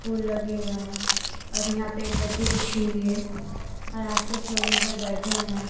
फूल लगे हुए है और यहां पे एक गद्दी बिछी हुई है और आस पास लोग यहां पे बैठे हुए है।